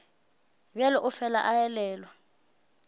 bjalo o fela a elelwa